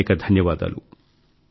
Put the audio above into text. అనేకానేక ధన్యవాదాలు